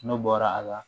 N'o bɔra a la